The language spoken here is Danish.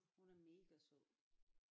Hun er mega sød